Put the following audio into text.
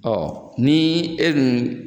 Ɔ ni e dun